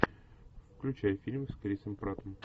включай фильм с крисом праттом